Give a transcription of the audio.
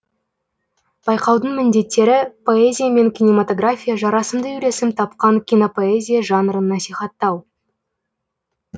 байқаудың міндеттері поэзия мен кинематография жарасымды үйлесім тапқан кинопоэзия жанрын насихаттау